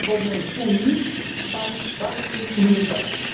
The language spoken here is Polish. Nie ma bowiem w Unii państw bardziej i mniej ważnych.